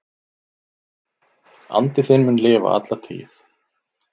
Andi þinn mun lifa alla tíð.